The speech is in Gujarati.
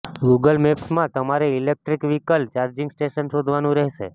ગૂગલ મેપ્સમાં તમારે ઇલેક્ટ્રિક વ્હીકલ ચાર્જિંગ સ્ટેશન શોધવાનું રહેશે